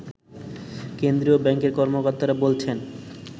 কেন্দ্রীয় ব্যাংকের কর্মকর্তারা বলছেন